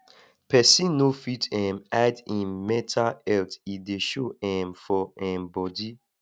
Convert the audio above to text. pesin no fit um hide im mental health e dey show um for um bodi